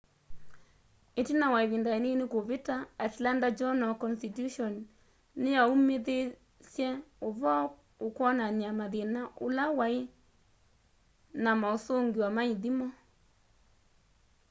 itina wa ivinda inini kuvita atlanta journal-constitution niyaumithisye uvoo ukwonania mathina ula wai na mausungio ma ithimo